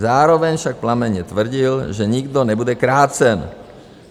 Zároveň však plamenně tvrdil, že nikdo nebude krácen.